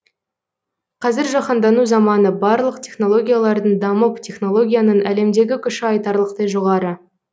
қазір жаһандану заманы барлық технологиялардың дамып технологияның әлемдегі күші айтарлықтай жоғары